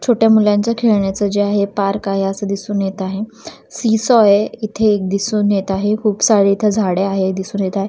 छोट्या मुलांचा खेळण्याच जे आहे पार्क आहे असं दिसून येत आहे सीसॉ आहे इथे एक दिसून येत आहे खूप सारे इथे झाडे आहे दिसून येत आहे.